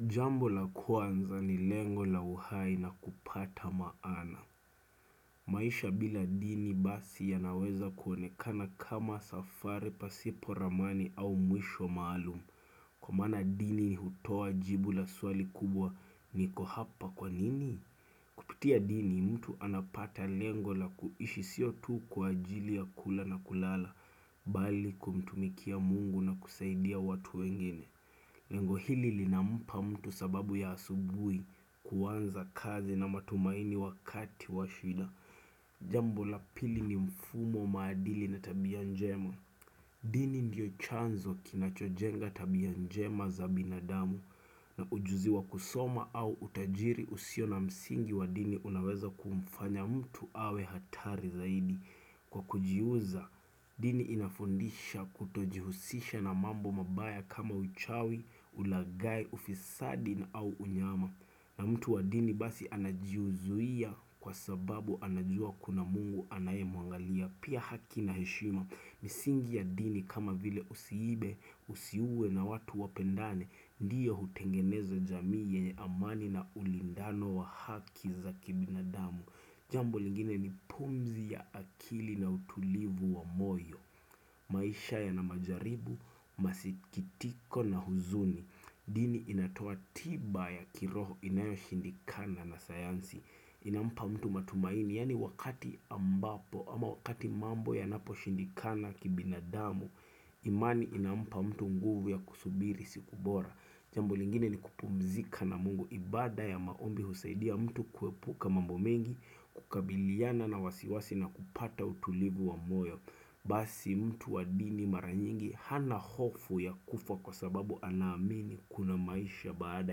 Jambo la kwanza ni lengo la uhai na kupata maana. Maisha bila dini basi yanaweza kuonekana kama safari pasipo ramani au mwisho maalumu. Kwa mana dini ni hutua jibu la swali kubwa niko hapa kwa nini? Kutia dini mtu anapata lengo la kuishi siotu kwa ajili ya kula na kulala, bali kumtumikia Mungu na kusaidia watu wengine. Lengo hili linampa mtu sababu ya asubuhi kuwanza kazi na matumaini wakati wa shida. Jambo la pili ni mfumo maadili na tabia njema. Dini ndio chanzo kinachojenga tabia njema za binadamu na ujuzi wa kusoma au utajiri usio na msingi wa dini unaweza kumfanya mtu awe hatari zaidi. Kwa kujiuza, dini inafundisha kutojihusisha na mambo mabaya kama uchawi, ulagai, ufisadi na au unyama na mtu wa dini basi anajiuzuia kwa sababu anajua kuna Mungu anaye mwangalia. Pia haki na heshima, misingi ya dini kama vile usiibe, usiuwe na watu wapendane. Ndiyo hutengeneza jamii yenye amani na ulindano wa haki za kibinadamu Jambo lingine ni pumzi ya akili na utulivu wa moyo, maisha ya na majaribu, masikitiko na huzuni Dini inatoa tiba ya kiroho inayo shindikana na sayansi Inampa mtu matumaini, yani wakati ambapo ama wakati mambo yanapo shindikana kibinadamu imani inampa mtu nguvu ya kusubiri siku bora. Jambo lingine ni kupumzika na Mungu, ibada ya maombi husaidia mtu kuepuka mambo mengi kukabiliana na wasiwasi na kupata utulivu wa moyo Basi mtu wa dini mara nyingi. Hana hofu ya kufa kwa sababu anamini Kuna maisha baada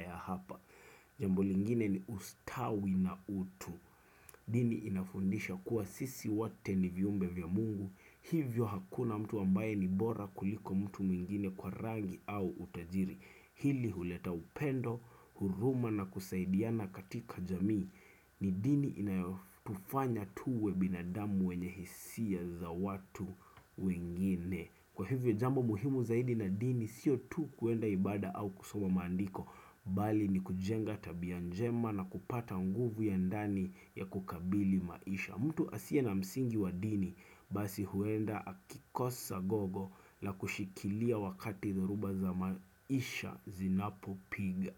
ya hapa Jambu lingine ni ustawi na utu Dini inafundisha kuwa sisi wote ni viumbe vya Mungu. Hivyo hakuna mtu ambaye ni bora kuliko mtu mwingine kwa rangi au utajiri. Hili huleta upendo, huruma na kusaidiana katika jamii ni dini inayofufanya tuwe binadamu wenye hisia za watu wengine. Kwa hivyo jambo muhimu zaidi na dini sio tu kuenda ibada au kusoma maandiko Bali ni kujenga tabia njema na kupata nguvu ya ndani ya kukabili maisha. Mtu asiye na msingi wa dini. Basi huenda akikosa gogo la kushikilia wakati zoruba za maisha zinapo piga.